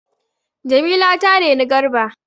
Jamila ta reni Garba.